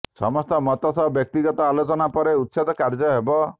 ସମସ୍ତ ମତ ସହ ବ୍ୟକ୍ତିଗତ ଆଲୋଚନା ପରେ ଉଚ୍ଛେଦ କାର୍ଯ୍ୟ ହେବ